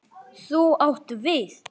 Þú átt við.